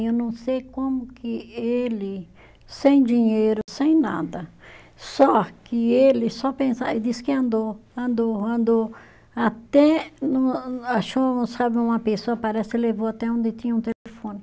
Eu não sei como que ele, sem dinheiro, sem nada, só que ele só pensa, ele disse que andou, andou, andou, até no achou, sabe, uma pessoa, parece que levou até onde tinha um telefone.